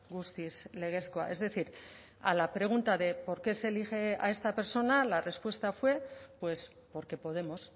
guztiz legezkoa es decir a la pregunta de por qué se elige a esta persona la respuesta fue pues porque podemos